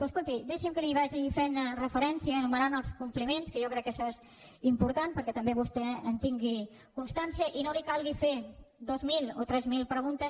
però escolti deixi’m que li vagi fent referència anomenant els compliments que jo crec que això és important perquè també vostè en tingui constància i no li calgui fer dues mil o tres mil preguntes